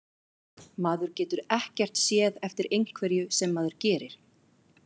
Maður getur ekkert séð eftir einhverju sem maður gerir.